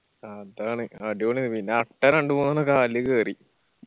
അതാണ് അടിപൊളി ആണ്. പിന്ന അട്ട രണ്ടു മൂണെന്നൊക്കെ കാലില് കേറി